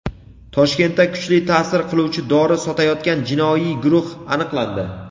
Toshkentda kuchli ta’sir qiluvchi dori sotayotgan jinoiy guruh aniqlandi.